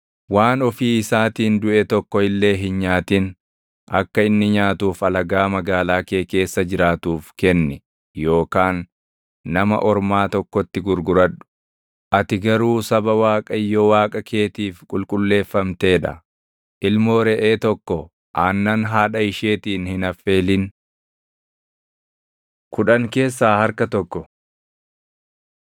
Waan ofii isaatiin duʼe tokko illee hin nyaatin. Akka inni nyaatuuf alagaa magaalaa kee keessa jiraatuuf kenni yookaan nama ormaa tokkotti gurguradhu. Ati garuu saba Waaqayyo Waaqa keetiif qulqulleeffamtee dha. Ilmoo reʼee tokko aannan haadhaa isheetiin hin affeelin. Kudhan Keessaa Harka Tokko